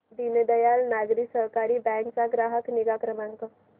दीनदयाल नागरी सहकारी बँक चा ग्राहक निगा क्रमांक